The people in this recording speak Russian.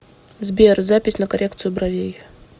сбер запись на коррекцию бровей